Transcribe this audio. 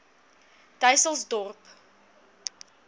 dysselsdorp